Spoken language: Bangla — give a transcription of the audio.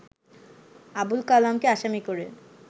আবুল কালামকে আসামি করে